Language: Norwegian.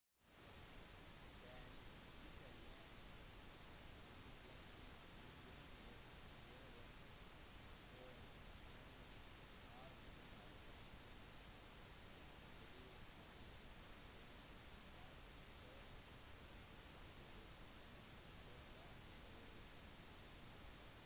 den italienske ingeniørsjefen for tiende arme general lastucci ble fanget i et bakholdsangrep øst for bardia av britene